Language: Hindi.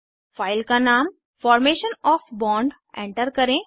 फाइल का नाम फार्मेशन ऑफ़ बॉन्ड एंटर करें